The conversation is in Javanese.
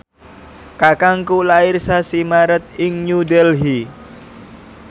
kakangku lair sasi Maret ing New Delhi